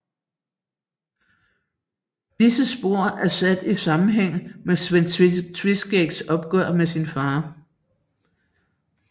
Disse spor er sat i sammenhæng med Sven Tveskægs opgør med sin fader